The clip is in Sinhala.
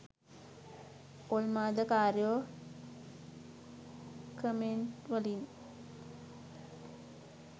ඔල්මාදකාරයො කමෙන්ට්වලින්